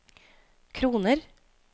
kroner